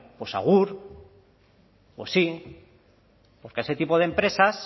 pues agur pues sí porque a ese tipo de empresas